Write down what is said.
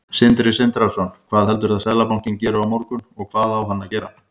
Sindri Sindrason: Hvað heldurðu að Seðlabankinn geri á morgun, og hvað á hann að gera?